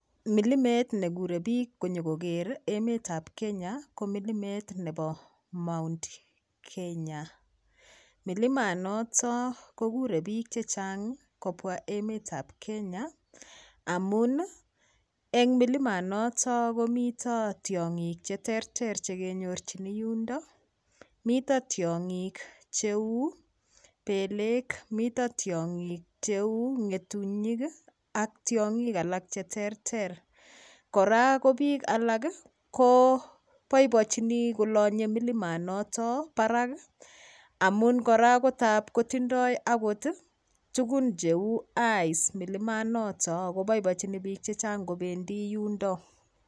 Milimet nekurei piik konyokoker emetab Kenya ko milimet nebo Mount Kenya milimanoto kokurei piik chechang kobwa emetab Kenya amun eng milimanoto komito tiong'ik cheterter chekenyorchini yundo mito tiong'ik cheu pelek mito tiong'ik cheu ng'etunyik ak tiong'ik alak cheterter kora ko piik alak koboibochini kolonyei milimanoto barak amun kora kotab kotindoi akot tukun cheu ice milimanoto akoboiboichini piik chechang' kobendi